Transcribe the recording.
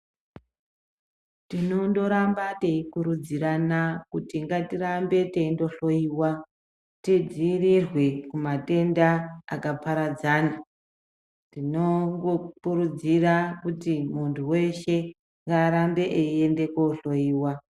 Tinondoramba teikurudzirana kuti ngatingoramba teindohloiwa tidzirirwe kumatenda akaparadzana tinokurudzira kuti muntu weshe arambe achienda kohloiwa.